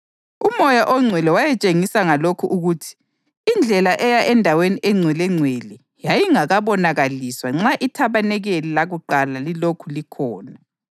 UMoya oNgcwele wayetshengisa ngalokho ukuthi indlela eya eNdaweni eNgcwelengcwele yayingabonakaliswa nxa ithabanikeli lakuqala lilokhu likhona.